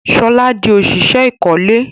Shola dì òṣìṣẹ́ ìkọ́lé